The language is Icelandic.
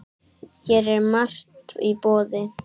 Hér er margt í boði.